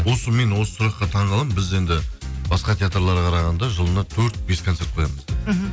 осы мен осы сұраққа таңғаламын біз енді басқа театрларға қарағанда жылына төрт бес концерт қоямыз мхм